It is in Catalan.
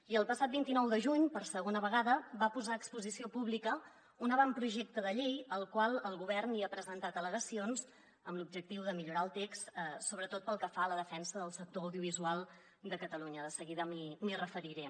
i el passat vint nou de juny per segona vegada va posar a exposició pública un avantprojecte de llei al qual el govern hi ha presentat al·legacions amb l’objectiu de millorar el text sobretot pel que fa a la defen·sa del sector audiovisual de catalunya de seguida m’hi referiré